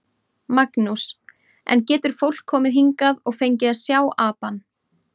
Magnús: En getur fólk komið hingað og fengið að sjá apann?